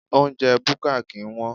Oúnjẹ búkà kì ń wón.